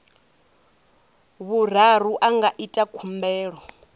vhuraru a nga ita khumbelo